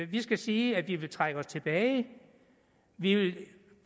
vi skal sige at vi vil trække os tilbage at vi vil